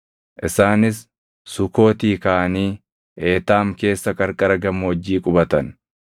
Isaanis Sukootii kaʼanii Eetaam keessa qarqara gammoojjii qubatan.